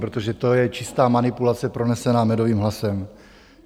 Protože to je čistá manipulace pronesená medovým hlasem.